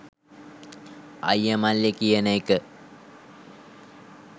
අයිය මල්ලි කියන එක